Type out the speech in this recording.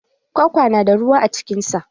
Kwakwa na da ruwa a cikin sa.